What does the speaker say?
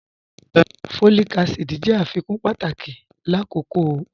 Folic acid jẹ afikun pátàkì lákókò oyún.